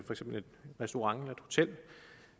restaurant